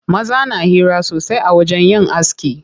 Maza na hira sosai a wajen yin aski.